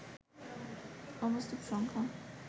অবাস্তব সংখ্যা